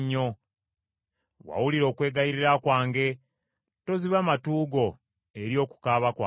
wawulira okwegayirira kwange: toziba matu go eri okukaaba kwange.”